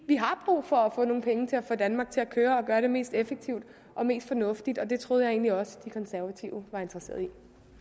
vi har brug for at få nogle penge til at få danmark til at køre og gøre det mest effektivt og mest fornuftigt og det troede jeg egentlig også at de konservative var interesseret i